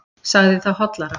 Sagði það hollara.